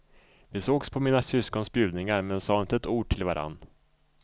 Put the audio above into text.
Vi sågs på mina syskons bjudningar men sa inte ett ord till varann.